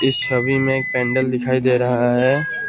इस छवि में एक पेंडल दिखाई दे रहा है।